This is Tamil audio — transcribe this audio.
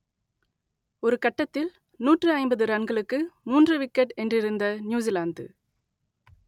ஒரு கட்டத்தில் நூற்று ஐம்பது ரன்களுக்கு மூன்று விக்கெட் என்றிருந்த நியூசிலாந்து